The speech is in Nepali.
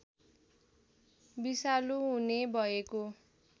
विषालु हुने भएको